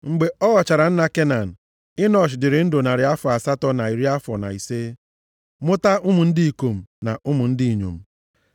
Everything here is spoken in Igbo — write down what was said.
Mgbe ọ ghọchara nna Kenan, Enọsh dịrị ndụ narị afọ asatọ na iri afọ na ise, mụta ụmụ ndị ikom na ụmụ ndị inyom.